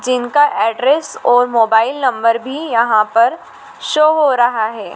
जिनका एड्रेस और mobile number भी यहां पर शो हो रहा है।